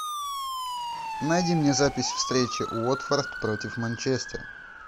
найди мне запись встречи уотфорд против манчестер